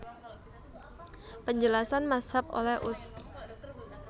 Penjelasan Mazhab oleh Ust